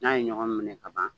N'a ye ɲɔgɔn minɛ ka ban